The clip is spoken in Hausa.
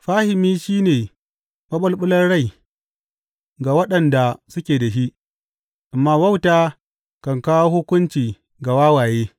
Fahimi shi ne maɓulɓular rai ga waɗanda suke da shi, amma wauta kan kawo hukunci ga wawaye.